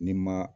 Ni ma